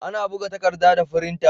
Ana buga takarɗa da firinta.